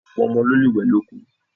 Ọ̀pọ̀ ọmọ ló lè wẹ̀ lóko.